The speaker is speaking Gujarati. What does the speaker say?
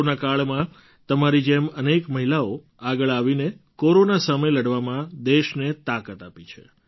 કોરોના કાળમાં તમારી જેમ અનેક મહિલાઓએ આગળ આવીને કોરોના સામે લડવામાં દેશને તાકાત આપી છે